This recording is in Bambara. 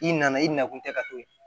I nana i na kun tɛ ka to ye